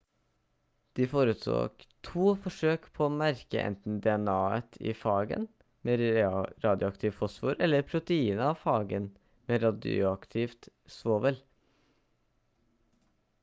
de foretok 2 forsøk på å merke enten dna-et i fagen med radioaktivt fosfor eller proteinet av fagen med radioaktivt svovel